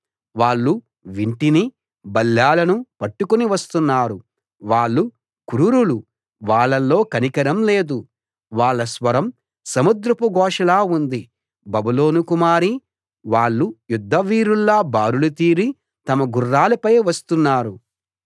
వాళ్ళు వింటినీ బల్లేలనూ పట్టుకుని వస్తున్నారు వాళ్ళు క్రూరులు వాళ్ళలో కనికరం లేదు వాళ్ళ స్వరం సముద్రపు ఘోషలా ఉంది బబులోను కుమారీ వాళ్ళు యుద్ధ వీరుల్లా బారులు తీరి తమ గుర్రాలపై వస్తున్నారు